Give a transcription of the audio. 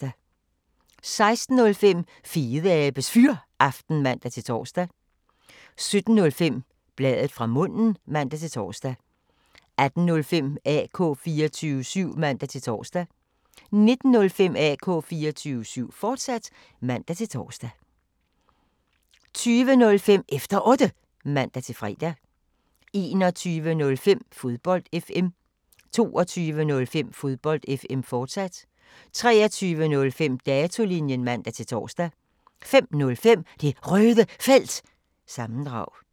16:05: Fedeabes Fyraften (man-tor) 17:05: Bladet fra munden (man-tor) 18:05: AK 24syv (man-tor) 19:05: AK 24syv, fortsat (man-tor) 20:05: Efter Otte (man-fre) 21:05: Fodbold FM 22:05: Fodbold FM, fortsat 23:05: Datolinjen (man-tor) 05:05: Det Røde Felt – sammendrag